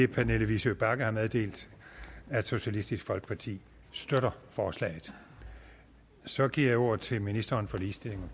pernille vigsø bagge har meddelt at socialistisk folkeparti støtter forslaget så giver jeg ordet til ministeren for ligestilling